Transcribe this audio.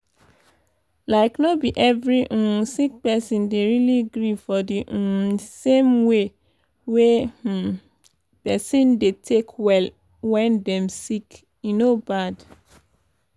like no be every um sick person dey really gree for d um same way wey um pesin dey take well wen dem sick e no bad.